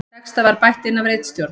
Texta var bætt inn af ritstjórn